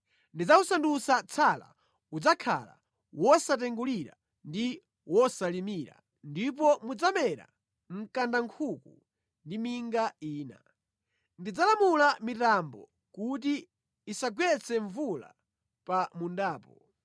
Ndidzawusandutsa tsala, udzakhala wosatengulira ndi wosalimira ndipo mudzamera mkandankhuku ndi minga ina. Ndidzalamula mitambo kuti isagwetse mvula pa mundapo.”